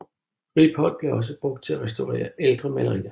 Riboldt blev også brugt til at restaurere ældre malerier